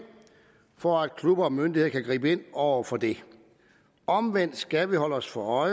for at klubber og myndigheder kan gribe ind over for det omvendt skal vi holde os for